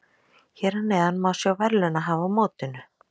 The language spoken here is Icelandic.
Hér að neðan má sjá verðlaunahafa á mótinu.